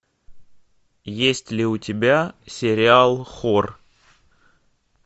есть ли у тебя сериал хор